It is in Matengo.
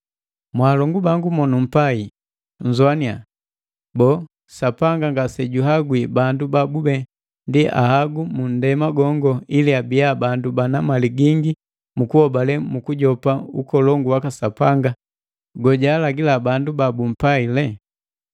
Mwaalongu bangu monumpai, nnzoannya! Boo, Sapanga ngasejuhangwi bandu babube ndi ahagu munndema gongo ili abiya bandu bana mali gingi mukuhobale nukujopa ukolongu waka Sapanga gojaalagila bandu ba bumpaile?